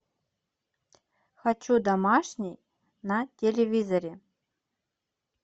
хочу домашний на телевизоре